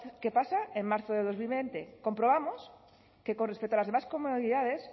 qué pasa en marzo de dos mil veinte comprobamos que con respecto a las demás comunidades